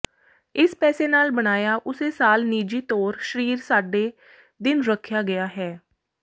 ਇਸ ਪੈਸੇ ਨਾਲ ਬਣਾਇਆ ਉਸੇ ਸਾਲ ਨਿੱਜੀ ਤੌਰ ਸ਼ਰੀਰ ਸਾਡੇ ਦਿਨ ਰੱਖਿਆ ਗਿਆ ਹੈ